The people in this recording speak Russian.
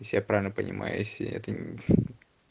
если я правильно понимаю если это ни